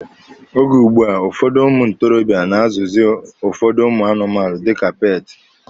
Oge ugbua, ụfọdụ ụmụ ntorobịa na-azụzị ụfọdụ ụmụ anụmanụ dika peeti.